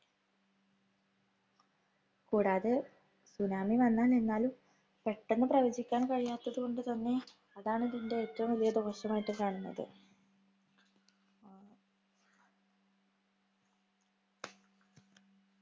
കൂടാതെ, tsunami വന്നു നിന്നാല്‍ പെട്ടന്ന് പ്രവചിക്കാന്‍ കഴിയാത്തത് കൊണ്ട് തന്നെ അതാണ്‌ ഇതിന്‍റെ ഏറ്റവും വലിയ ദോഷമായികാണുന്നത്.